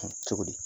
Cogo di